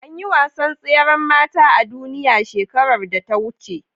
Anyi wasan tseran mata a duniya shekarar da ta wuce